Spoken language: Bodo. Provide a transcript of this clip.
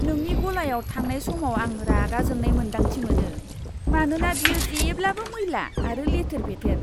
नोंनि गलायाव थांनाय समाव आं रागा जोंनाय मोन्दांथि मोनो, मानोना बेयो जेब्लाबो मैला आरो लेथेर फेथेर!